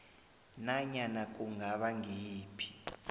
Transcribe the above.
nanyana kungaba ngiyiphi